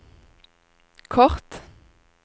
kort